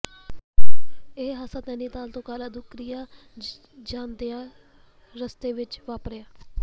ਇਹ ਹਾਦਸਾ ਨੈਨੀਤਾਲ ਤੋਂ ਕਾਲਾਧੁੰਗਰੀ ਜਾਂਦਿਆਂ ਰਸਤੇ ਵਿੱਚ ਵਾਪਰਿਆ